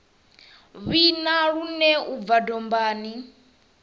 vhina lune u bva dombani